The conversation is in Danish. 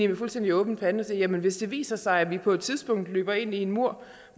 med fuldstændig åben pande hvis det viser sig at vi på et tidspunkt løber ind i en mur